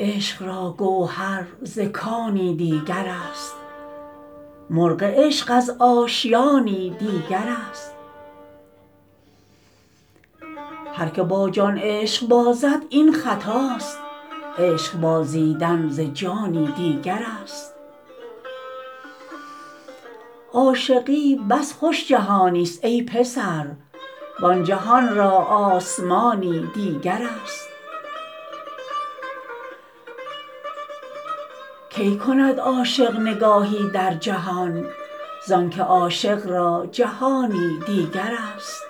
عشق را گوهر ز کانی دیگر است مرغ عشق از آشیانی دیگر است هرکه با جان عشق بازد این خطاست عشق بازیدن ز جانی دیگر است عاشقی بس خوش جهان است ای پسر وان جهان را آسمانی دیگر است کی کند عاشق نگاهی در جهان زانکه عاشق را جهانی دیگر است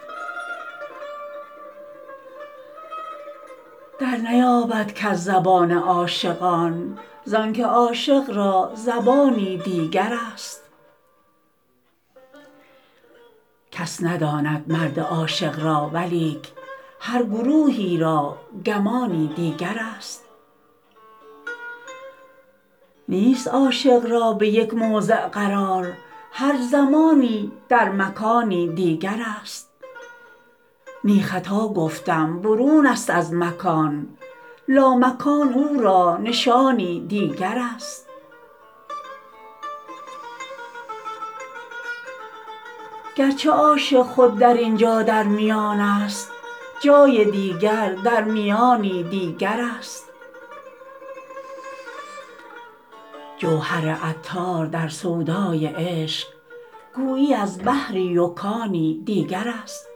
در نیابد کس زبان عاشقان زانکه عاشق را زبانی دیگر است کس نداند مرد عاشق را ولیک هر گروهی را گمانی دیگر است نیست عاشق را به یک موضع قرار هر زمانی در مکانی دیگر است نی خطا گفتم برون است از مکان لامکان او را نشانی دیگر است گرچه عاشق خود در اینجا در میانست جای دیگر در میانی دیگر است جوهر عطار در سودای عشق گویی از بحری و کانی دیگر است